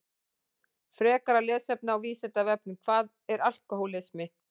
Frekara lesefni á Vísindavefnum Hvað er alkóhólismi?